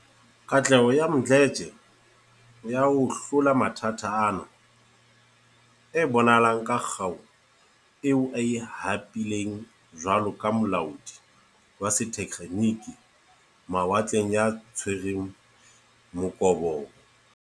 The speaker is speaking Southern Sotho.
Katleho ya Mdletshe ya ho hlola mathata ana e bonahala ka kgau eo a e hapileng jwalo ka molaodi wa setekgeniki mawatleng ya tshwereng mokobobo.